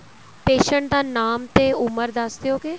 patient ਦਾ ਨਾਮ ਤੇ ਉਮਰ ਦੱਸ ਦਿਉਗੇ